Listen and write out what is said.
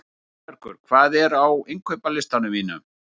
Sigurbergur, hvað er á innkaupalistanum mínum?